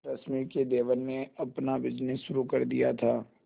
रश्मि के देवर ने अपना बिजनेस शुरू कर दिया था